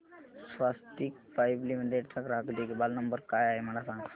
स्वस्तिक pipe limited चा ग्राहक देखभाल नंबर काय आहे मला सांगा